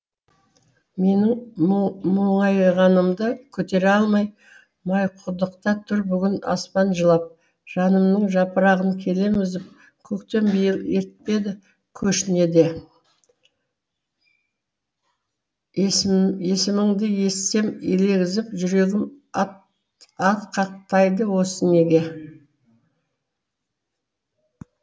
менің мұңайғанымды көтере алмай майқұдықта тұр бүгін аспан жылап жанымның жапырағын келем үзіп көктем биыл ертпеді көшіне де есіміңді естісем елегізіп жүрегім атқақтайды осы неге